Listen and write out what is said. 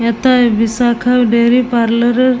হেথায় Bishakha dairy parlour -এর--